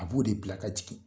A b'o de bila ka jigin.